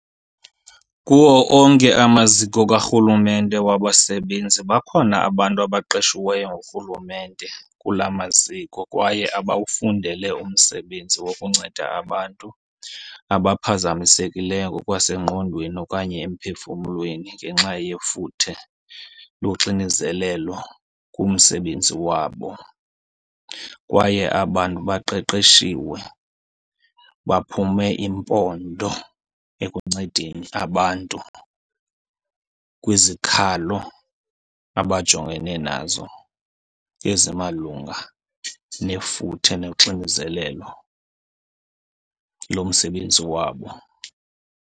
Kuwo onke amaziko karhulumente wabasebenzi bakhona abantu abaqeshiweyo ngurhulumente kulaa maziko kwaye abawufundele umsebenzi wokunceda abantu abaphazamisekileyo ngokwasengqondweni okanye emphefumlweni ngenxa yefuthe loxinizelelo kumsebenzi wabo. Kwaye aba 'ntu baqeqeshiwe baphume iimpondo ekuncedeni abantu kwizikhalo abajongene nazo ezimalunga nefuthe noxinizelelo lomsebenzi wabo.